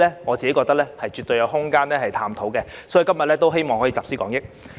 我認為絕對有探討的空間，所以希望今天可集思廣益。